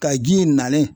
Ka ji in nalen